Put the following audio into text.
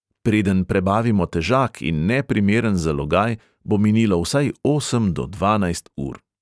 Preden prebavimo težak in neprimeren zalogaj, bo minilo vsaj osem do dvanajst ur.